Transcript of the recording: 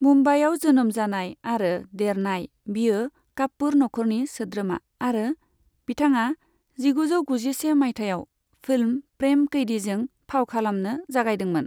मुम्बाइआव जोनोम जानाय आरो देरनाय, बियो कापुर नखरनि सोद्रोमा, आरो बिथाङा जिगुजौ गुजिसे मायथाइयाव फिल्म 'प्रेम कैदि'जों फाव खालामनो जागायदोंमोन।